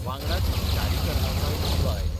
वांगडाच शारीकरणाचोय मुद्दो आयलो.